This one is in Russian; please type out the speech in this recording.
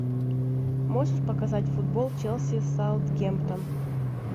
можешь показать футбол челси саутгемптон